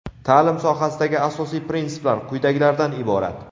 Ta’lim sohasidagi asosiy prinsiplar quyidagilardan iborat:.